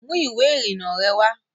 Mú ìwé ìrìnnà rẹ wá